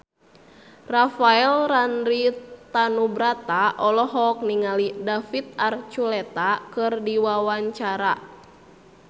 Rafael Landry Tanubrata olohok ningali David Archuletta keur diwawancara